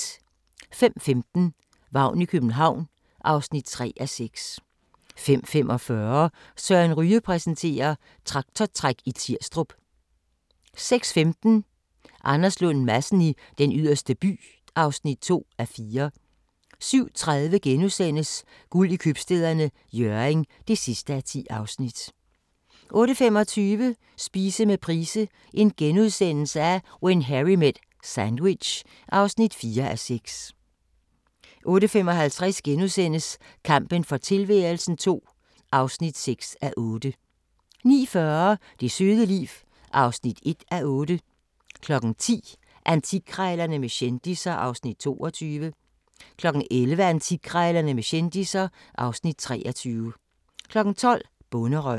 05:15: Vagn i København (3:6) 05:45: Søren Ryge præsenterer: Traktortræk i Tirstrup 06:15: Anders Lund Madsen i Den Yderste By (2:4) 07:30: Guld i Købstæderne – Hjørring (10:10)* 08:25: Spise med Price – When Harry met sandwich (4:6)* 08:55: Kampen for tilværelsen II (6:8)* 09:40: Det søde liv (1:8) 10:00: Antikkrejlerne med kendisser (Afs. 22) 11:00: Antikkrejlerne med kendisser (Afs. 23) 12:00: Bonderøven